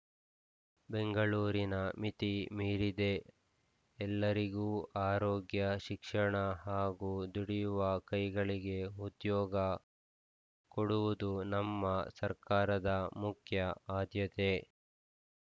ಬೆಂಗಳೂರಿನ ಮಿತಿ ಮೀರಿದೆ ಎಲ್ಲರಿಗೂ ಆರೋಗ್ಯ ಶಿಕ್ಷಣ ಹಾಗೂ ದುಡಿಯುವ ಕೈಗಳಿಗೆ ಉದ್ಯೋಗ ಕೊಡುವುದು ನಮ್ಮ ಸರ್ಕಾರದ ಮುಖ್ಯ ಆದ್ಯತೆ